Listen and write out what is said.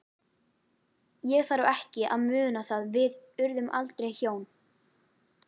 Ég þarf ekki að muna það- við urðum aldrei hjón.